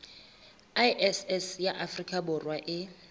iss ya afrika borwa e